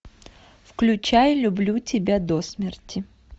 включай люблю тебя до смерти